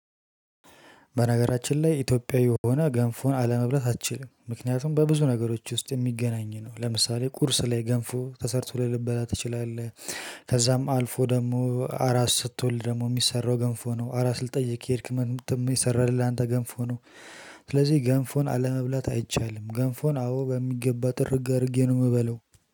በነገራችን ላይ ኢትዮጵያዊ ሆነህ ገንፎን አለመብላት አትችልም ምክንያቱም በብዙ ነገሮች ውስጥ የሚገናኝ ነው ለምሳሌ ቁርስ ላይ ገንፎ ተሰርቶልህ ልበላ ትችላለህ። ከዛም አልፎ ደግሞ አራስ ስትወልድ ደግሞ የሚሰራው ገንፎ ነው አራት ልትጠይቅ ከሄድክ ምን እሚሰራልህ ላንተ ገንፎ ነው። ስለዚህ ገንፎን አለመብላት አይቻልም ገንፎን አዎ በሚገባ ጥርግ አድርጌ ነው ምበላው።